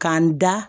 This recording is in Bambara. K'an da